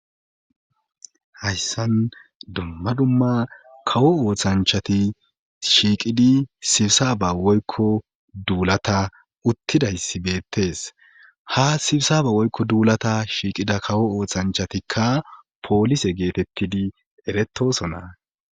hayssan dumma dumma kawo ooththanchati shiiqidi sibsaba woykko duulata uttidayssi beettes ha sibsaba woykko duulata shiiqida kawo oothanchatikka poolise geetettidi eretosona